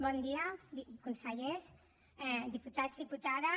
bon dia consellers diputats diputades